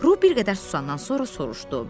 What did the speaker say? Ru bir qədər susandan sonra soruşdu: